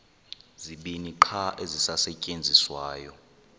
zibini qha ezisasetyenziswayo